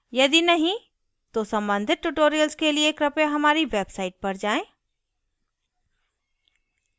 यदि नहीं तो सम्बंधित tutorials के लिए कृपया हमारी website पर जाएँ